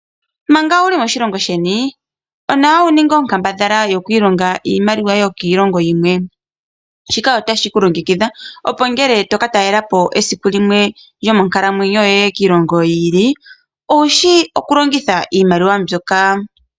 Manga wuli moshilongo sheni onawa wuninge onkandambala yoku ilonga iimaliwa yokiilongo yimwe shika otashi ku longekidha opo ngele toka talelapo esiku limwe lyonkalamwenyo yoye kiilongo yi ili owushi okulongitha iimaliwa yoye.